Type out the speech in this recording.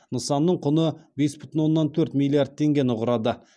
нысанның құны бес бүтін оннан төрт миллиард теңгені құрады